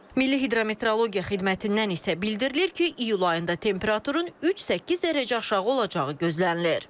Milli Hidrometeorologiya Xidmətindən isə bildirilir ki, iyul ayında temperaturun 3-8 dərəcə aşağı olacağı gözlənilir.